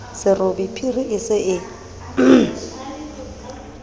serobe phiri e se e